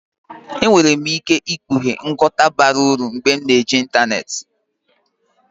Enwere m ike ikpughe nghọta bara uru mgbe m na-eji ịntanetị.